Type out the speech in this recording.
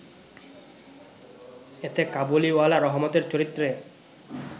এতে কাবুলিওয়ালা রহমতের চরিত্রে